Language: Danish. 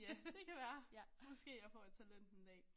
Ja det kan være måske jeg får et talent en dag